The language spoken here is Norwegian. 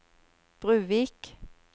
Bruvik